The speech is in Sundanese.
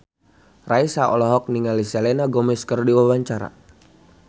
Raisa olohok ningali Selena Gomez keur diwawancara